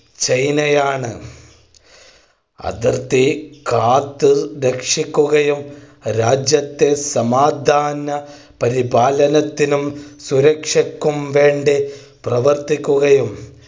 ചൈനയാണ് അതിർത്തി കാത്ത് രക്ഷിക്കുകയും രാജ്യത്തിൽ സമാധാന പരിപാലനത്തിനും സുരക്ഷക്കും വേണ്ടി പ്രവർത്തിക്കുകയും